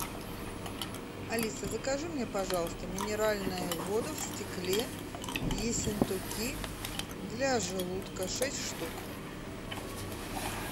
алиса закажи мне пожалуйста минеральную воду в стекле ессентуки для желудка шесть штук